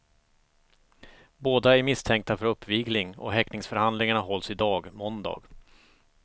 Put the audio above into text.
Båda är misstänkta för uppvigling och häktningsförhandlingarna hålls i dag, måndag.